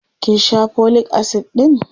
kin Sha folic acid ɗin?